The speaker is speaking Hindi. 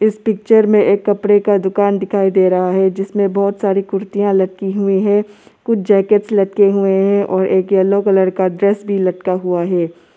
इस पिक्चर में एक कपड़े का दुकान दिखाई दे रहा है जिसमें बहुत सारी कुर्तियां लटकी हुई हैं कुछ जैकेट लटके हुए हैं और एक येल्लो कलर का ड्रेस भी लटका हुआ है।